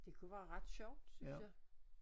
Det kunne være ret sjovt synes jeg